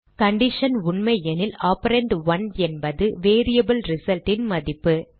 condition உண்மையெனில் operand 1 என்பது variable Result ன் மதிப்பு